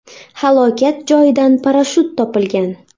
Halokat joyidan parashyut topilgan.